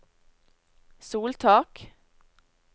soltak